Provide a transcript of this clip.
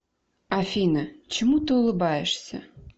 афина чему ты улыбаешься